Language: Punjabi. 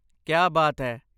ਕਿਆ ਬਾਤ ਹੈ!